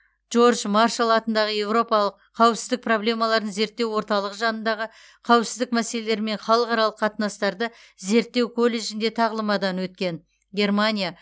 джордж маршал атындағы еуропалық қауіпсіздік проблемаларын зерттеу орталығы жанындағы қауіпсіздік мәселелері мен халықаралық қатынастарды зерттеу колледжінде тағылымдамадан өткен германия